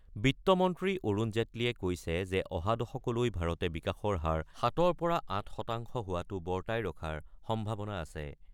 বিত্তমন্ত্ৰী অৰুণ জেটলীয়ে কৈছে যে অহা দশকলৈ ভাৰতে বিকাশৰ হাৰ ৭ৰ পৰা ৮ শতাংশ হোৱাটো বৰ্তাই ৰখাৰ সম্ভাৱনা আছে।